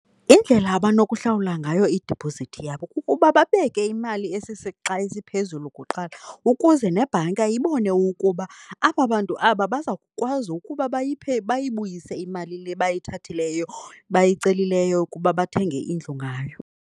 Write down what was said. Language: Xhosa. Indlela abanokuhlawula ngayo idiphozithi yabo kukuba babeke imali esisixa esiphezulu kuqala ukuze nebhanka ibone ukuba aba bantu aba baza kukwazi ukuba bayiphe, bayibuyise imali le bayithathileyo bayicelileyo ukuba bathenge indlu ngayo